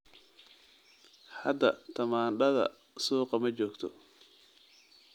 Hadda tamaandhada suuqa ma joogto.